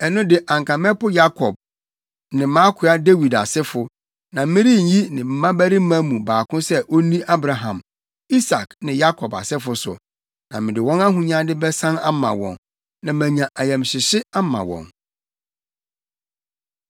ɛno de anka mɛpo Yakob ne mʼakoa Dawid asefo, na merenyi ne mmabarima mu baako sɛ onni Abraham, Isak ne Yakob asefo so. Na mede wɔn ahonyade bɛsan ama wɔn, na manya ayamhyehye ama wɔn.’ ”